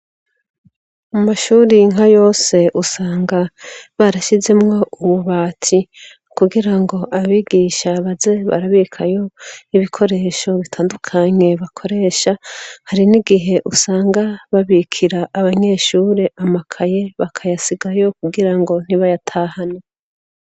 Mu mashuri nka yose usanga barashizemwo ububati kugira ngo abigisha baze barabikayo ibikoresho bitandukanye bakoresha hari n'igihe usanga babikira abanyeshure amakaye bakayasigayo kugira ngo ntibayatahane